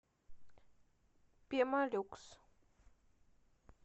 пемолюкс